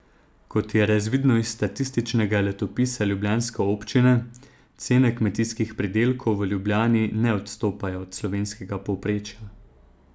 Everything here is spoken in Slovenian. Kot je razvidno iz statističnega letopisa ljubljanske občine, cene kmetijskih pridelkov v Ljubljani ne odstopajo od slovenskega povprečja.